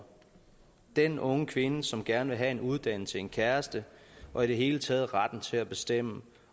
den unge kvinde som gerne vil have en uddannelse en kæreste og i det hele taget retten til at bestemme